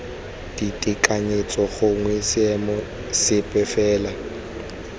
ditekanyetso gongwe seemo sepe fela